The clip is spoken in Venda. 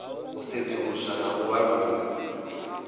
u sedzuluswa na u vhalululwa